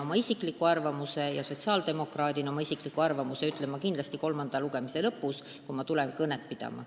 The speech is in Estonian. Oma isikliku arvamuse sotsiaaldemokraadina ütlen ma kindlasti kolmanda lugemise lõpus, kui tulen siia kõnet pidama.